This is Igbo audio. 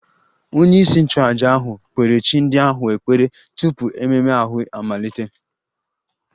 Onyeisi nchụaja ahụ kpere chi ndị ahụ ekpere tupu ememme ahụ amalite